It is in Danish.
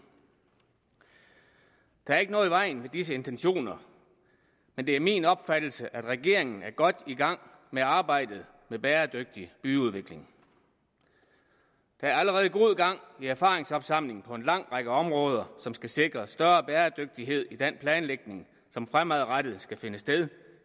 der er ikke noget i vejen med disse intentioner men det er min opfattelse at regeringen er godt i gang med arbejdet med bæredygtig byudvikling der er allerede i erfaringsopsamlingen på en lang række områder som skal sikre større bæredygtighed i den planlægning som fremadrettet skal finde sted